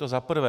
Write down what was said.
To za prvé.